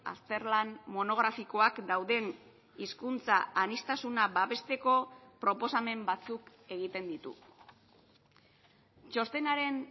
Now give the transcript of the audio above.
azterlan monografikoak dauden hizkuntza aniztasuna babesteko proposamen batzuk egiten ditu txostenaren